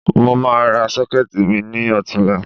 Mo máa ra Ṣọ́kẹ́ẹ̀tì mi ní ọ̀tunla